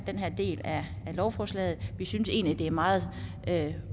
den del af lovforslaget vi synes egentlig det er meget rimeligt